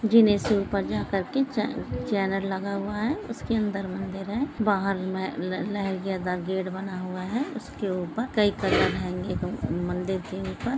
जीने से ऊपर जा कर के चैनल लगा हुआ हैं उसके अंदर मंदिर हैं बाहर में गेट बना हुआ हैं उसके ऊपर कई कलर हैंगे मंदिर के ऊपर--